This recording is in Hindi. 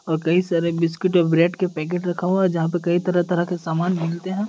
और कई सारे बिस्किट और ब्रेड के पैकेट रखा हुआ है जहा पे कई तरह तरह के सामान मिलते है।